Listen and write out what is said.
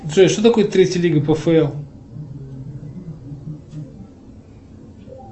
джой что такое третья лига пфл